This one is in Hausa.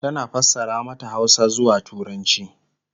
tana fassara mata Hausa zuwa turanci